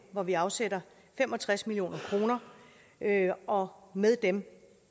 hvor vi afsætter fem og tres million kr og med dem